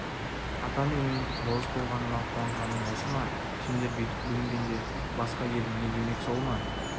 ата менің болыс болғаныма қуанғаның осы ма сендер бүйтіп бүлінгенде басқа ел не демек сол ма